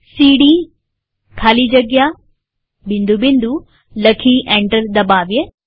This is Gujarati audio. હવે પેરેન્ટ ડિરેક્ટરીમાં જવા સીડી ખાલી જગ્યા લખી એન્ટર દબાવીએ